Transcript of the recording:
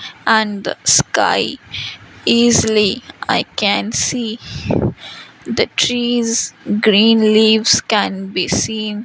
and the sky easily i can see the trees green leaves can be seen.